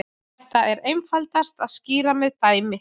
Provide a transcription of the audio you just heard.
Þetta er einfaldast að skýra með dæmi.